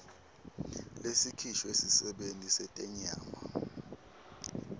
lesikhishwe sisebenti setenyama